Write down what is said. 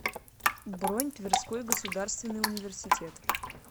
бронь тверской государственный университет